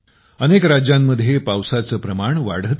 अनेक राज्यांमध्ये पावसाचे प्रमाण वाढते आहे